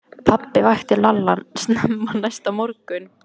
Pabbi vakti Lalla snemma næsta morgun.